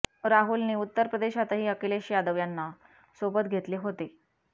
राहुलनी उत्तर प्रदेशातही अखिलेश यादव यांना सोबत घेतले होते